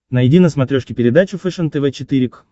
найди на смотрешке передачу фэшен тв четыре к